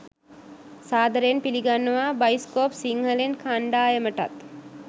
සාදරයෙන් පිළිගන්නවා බයිස්කෝප් සිංහලෙන් කණ්ඩායමටත්.